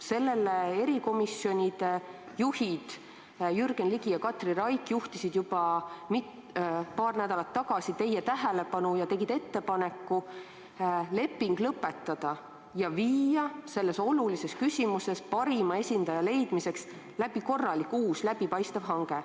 Sellele juhtisid erikomisjonide juhid Jürgen Ligi ja Katri Raik juba paar nädalat tagasi teie tähelepanu ning tegid ettepaneku leping lõpetada ja viia selles olulises küsimuses parima esindaja leidmiseks läbi uus korralik läbipaistev hange.